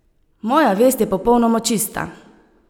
Moja vest je popolnoma čista!